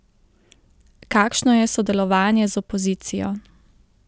Kakšno je sodelovanje z opozicijo?